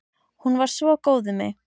Hún var svo góð við mig.